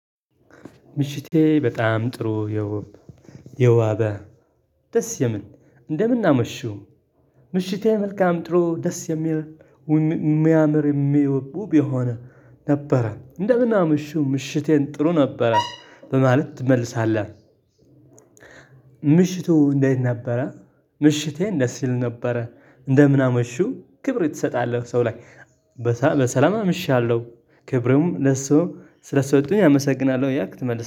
ምሽቴ በጣም ጥሩ የተዋበ ደስ የምል እንደምን አመሹ ምሽቴ መልካም ጥሩ ደስ የሚል የሚያምር ውብ የሆነ ነበረ እንደምን አምሽው ምሽቴን ጥሩ ነበረ በማለት ትመልሳለህ። ምሽቱ እንዴት ነበረ? ምሽቴን ደስ ይል ነበረ እንደምን አመሹ ክብር ትሰጣለህ ሰው ላይ። በሰላም አመሻለሁ ክብሩም ለሰው ስለሰጡኝ አመሰግናለሁ ያልክ ትመልሳለህ